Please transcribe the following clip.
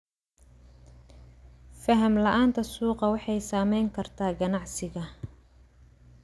Faham la'aanta suuqa waxay saameyn kartaa ganacsiga.